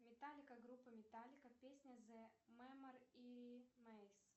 металлика группа металлика песня зе мемори мейс